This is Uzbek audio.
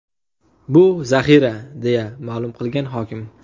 Bu zaxira”, deya ma’lum qilgan hokim.